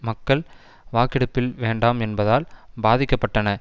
மக்கள் வாக்கெடுப்பில் வேண்டாம் என்பதால் பாதிக்க பட்டன